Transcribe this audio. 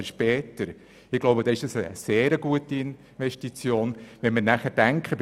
Angesichts dessen ist es eine sehr gute Investition, für die Kleinsten Geld auszugeben.